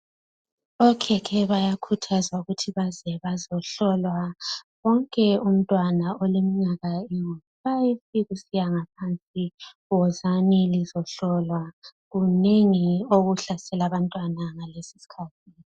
Okhekhe bayakhuthazwa ukuthi baze bazahlolwa. Wonke umntwana oleminyaka engu 5 kusiya ngaphansi wozani lizohlolwa, kunengi okuhlasela abantwana ngalesi iskhathi.